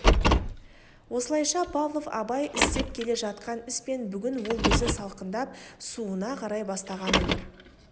осылайша павлов абай істеп келе жатқан іс пен бүгін ол өзі салқындап суына қарай бастаған өмір